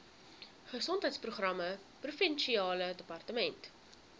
gesondheidsprogramme provinsiale departement